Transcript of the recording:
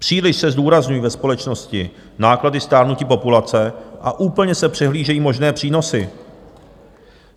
Příliš se zdůrazňují ve společnosti náklady stárnutí populace a úplně se přehlížejí možné přínosy.